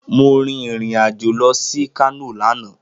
Mo rìn irìn-àjò lọ sí Kano lánàá